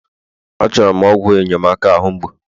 Achọrọ m ọgwụ enyemaka ahu mgbu